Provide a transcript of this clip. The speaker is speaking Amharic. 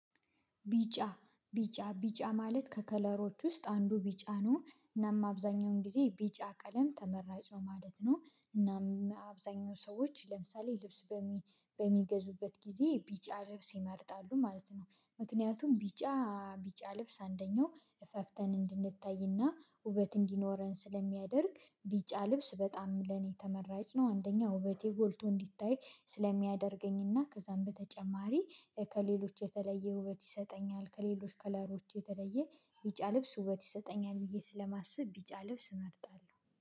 ቢጫ ቢጫ ቢጫ ማለት ከከለሮች ውስጥ አንዱ ቢጫ ነው እናም አብዛኛውን ጊዜ ቢጫ ቀለም ተመራጭ ነው ማለት ነው እናም አብዛኛው ሰዎች ለምሳሌ ልብስ በሚገዙበት ጊዜ ቢጫ ልብስ ይመርጣሉ ማለት ነው። ምክንያቱም ቢጫ ቢጫ ልብስ አንደኛው እፈፍተን እንድንታይና ውበት እንዲኖረን ስለሚያደርግ ቢጫ ልብስ በጣም ለኔ ተመራጭ ነው። አንደኛ ውበቴ ጎልቶ እንድታይ ስለሚያደርገኝና ከዛም በተጨማሪ ከሌሎች የተለየ ውበት ይሰጠኛል ከሌሎች ከለሮች የተለየ ቢጫ ልብስ ውበት ይሰጠኛል ብዬ ስለማስብ ቢጫ ልብስ እመርጣለሁ